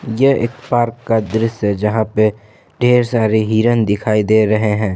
यह एक पार्क का दृश्य जहां पे ढेर सारे हिरन दिखाई दे रहे हैं ।